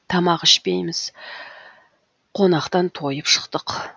тамақ ішпейміз қонақтан тойып шықтық